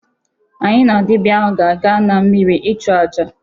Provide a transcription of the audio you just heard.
Anyị na dịbịa ahụ ga-aga na mmịrị ịchụ aja.